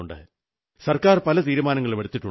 സർക്കാർ പല തീരുമാനങ്ങളുമെടുത്തിട്ടുണ്ട്